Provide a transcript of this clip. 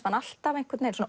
hann alltaf